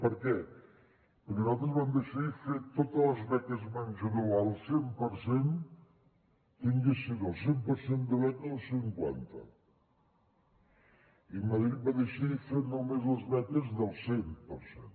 per què perquè nosaltres vam decidir fer totes les beques menjador al cent per cent tinguessin el cent per cent de beca o el cinquanta i madrid va decidir fer només les beques del cent per cent